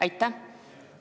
Aitäh!